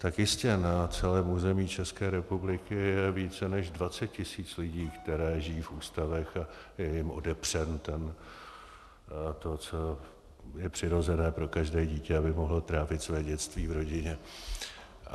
Tak jistě na celém území České republiky je víc, než 20 tisíc lidí, kteří žijí v ústavech, a je jim odepřeno to, co je přirozené pro každé dítě, aby mohlo trávit své dětství v rodině.